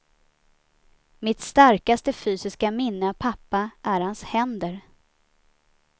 Mitt starkaste fysiska minne av pappa är hans händer.